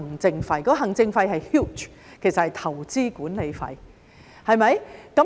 現時的行政費是 huge， 其實是投資管理費。